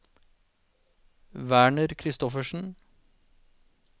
Werner Christoffersen